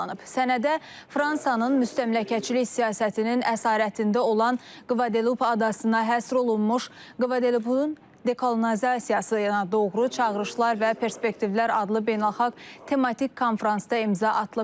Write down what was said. Sənədə Fransanın müstəmləkəçilik siyasətinin əsarətində olan Kvadelup adasına həsr olunmuş Kvadelupun dekolonizasiyasına doğru çağırışlar və perspektivlər adlı beynəlxalq tematik konfransda imza atılıb.